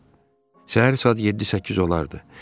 Səhər saat 7-8 olardı.